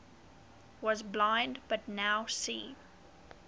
was blind but now see